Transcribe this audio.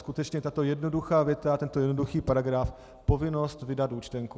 Skutečně tato jednoduchá věta, tento jednoduchý paragraf - povinnost vydat účtenku.